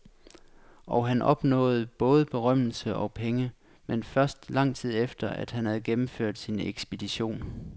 Og han opnåede både berømmelse og penge, men først lang tid efter at han havde gennemført sin ekspedition.